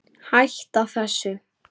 Hætta þessu!